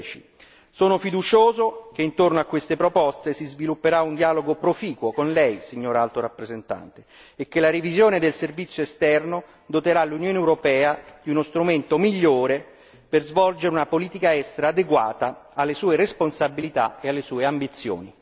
2010. Sono fiducioso che intorno a queste proposte si svilupperà un dialogo proficuo con Lei Alto rappresentante e che la revisione del servizio esterno doterà l'Unione europea di uno strumento migliore per svolgere una politica estera adeguata alle sue responsabilità e alle sue ambizioni.